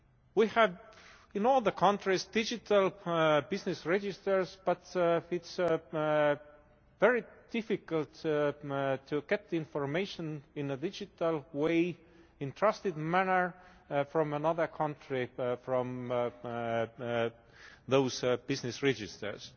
We have in all the countries digital prior business registers, but it is very difficult to get information in a digital way, in a trusted manner, from another country from those business registers.